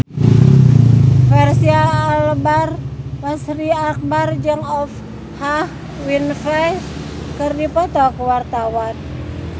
Fachri Albar jeung Oprah Winfrey keur dipoto ku wartawan